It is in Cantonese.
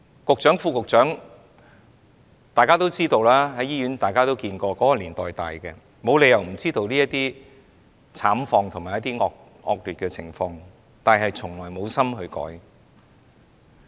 局長、副局長，其實和大家一樣，都是在這個年代長大，沒有理由不知道這些惡劣慘況，但是他們從來無心改變。